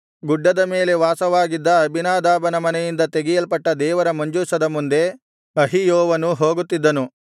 ಗುಡ್ಡದ ಮೇಲೆ ವಾಸವಾಗಿದ್ದ ಅಬೀನಾದಾಬನ ಮನೆಯಿಂದ ತೆಗೆಯಲ್ಪಟ್ಟ ದೇವರ ಮಂಜೂಷದ ಮುಂದೆ ಅಹಿಯೋವನೂ ಹೋಗುತ್ತಿದ್ದನು